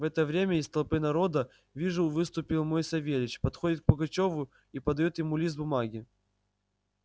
в это время из толпы народа вижу выступил мой савельич подходит к пугачёву и подаёт ему лист бумаги